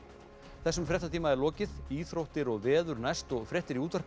þessum fréttatíma er lokið íþróttir og veður næst og fréttir í útvarpi